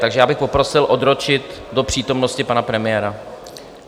Takže já bych poprosil odročit do přítomnosti pana premiéra.